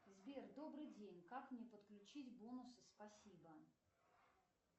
сбер добрый день как мне подключить бонусы спасибо